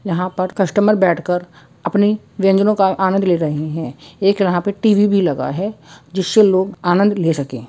यहां पर कस्टमर बैठकर अपनी व्यंजनों का आनंद ले रहे हैं एक यहां पे टी.वी. भी लगा है जिससे लोग आनंद ले सकें।